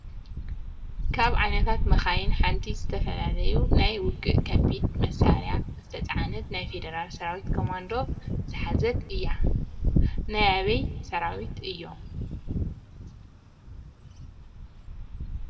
ካብ ዓይነታት መካይን ሐንቲ ዝተፈላለዮ ናይ ውግእ ከቢድ መሳሪያ ዝተፅዓነት ናይ ፌደራል ሰራዊትን ኮማንዶ ዘሐዘት እያ ። ናይ አበይ ሰራዊት እዮ?